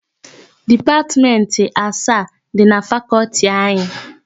Dipatmentị asaa dị na Fakọltị anyị.